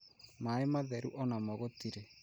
maaĩ matheru onamo gũtirĩ